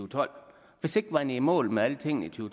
tolv hvis ikke man er i mål med alting i to